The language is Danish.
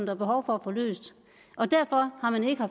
er behov for at få løst derfor har man ikke